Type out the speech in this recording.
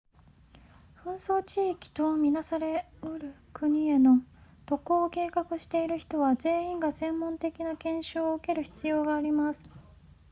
紛争地域と見なされうる国への渡航を計画している人は全員が専門的な研修を受ける必要があります